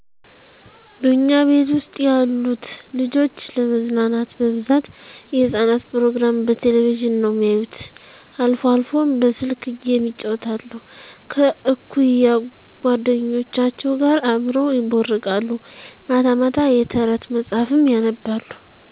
በእኛ ቤት ውስጥ ያሉት ልጆች ለመዝናናት በብዛት የህጻናት ፕሮግራም በቴሌቭዥን ነው የሚያዩት አልፎ አልፎም በስልክ ጌም ይጫወታሉ። ከእኩያ ጎደኞቻቸው ጋር አብረው ይቦርቃሉ። ማታ ማታ የተረት መጽሐፍም ያነባሉ።